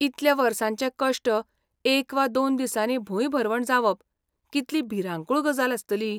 इतल्या वर्सांचे कश्ट एक वा दोन दिसांनी भूंयभरवण जावप कितली भिरांकूळ गजाल आसतली.